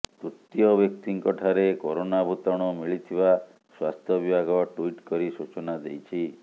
ତୃତୀୟ ବ୍ୟକ୍ତିଙ୍କ ଠାରେ କରୋନା ଭୂତାଣୁ ମିଳିଥିବା ସ୍ୱାସ୍ଥ୍ୟ ବିଭାଗ ଟୁଇଟ୍ କରି ସୂଚନା ଦେଇଛି